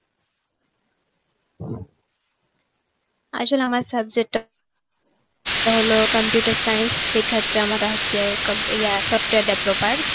আসলে আমার subject টা এটা হল computer science সেক্ষেত্রে আমারটা হচ্ছে software devloper.